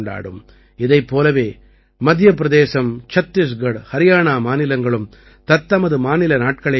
இதைப் போலவே மத்திய பிரதேசம் சத்திஸ்கட் ஹரியாணா மாநிலங்களும் தத்தமது மாநில நாட்களைக் கொண்டாடும்